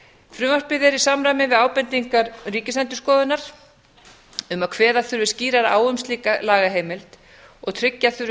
frumvarpið er í samræmi við ábendingar ríkisendurskoðunar um að kveða þurfi skýrar á um slíka lagaheimild og tryggja þurfi